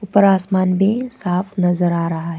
ऊपर आसमान भी साफ नजर आ रहा है।